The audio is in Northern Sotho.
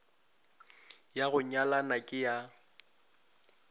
ya go nyalana ke ya